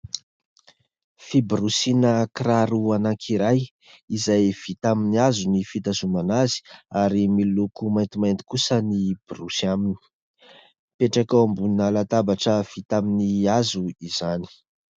Fiborosiana kiraro anankiray izay vita amin'ny hazo ny fitazonana azy ary miloko maintimainty kosa ny borosy aminy. Mipetraka eo ambonina latabatra vita amin'ny hazo izany.